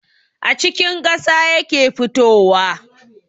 A cikin ƙasa yake fitowa